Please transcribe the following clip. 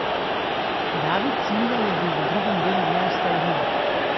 David Silva je bil v drugem delu neustavljiv.